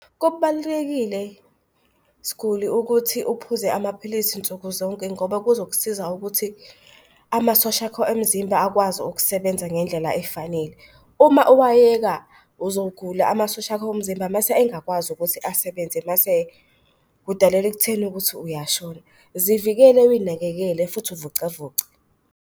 Kubalulekile siguli ukuthi aphuze amaphilisi nsuku zonke ngoba kuzokusiza ukuthi amasosha akho omzimba akwazi ukusebenza ngendlela efanele. Uma uwayeka uzogula amasosha akho omzimba, mase engakwazi ukuthi asebenze mase kudalele ekutheni ukuthi uyashona. Zivikele uy'nakekele futhi uvocavoce.